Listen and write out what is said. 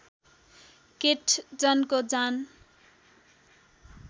केट जनको जान